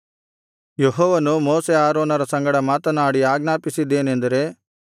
ಯೆಹೋವನು ಮೋಶೆ ಆರೋನರ ಸಂಗಡ ಮಾತನಾಡಿ ಆಜ್ಞಾಪಿಸಿದ್ದೇನೆಂದರೆ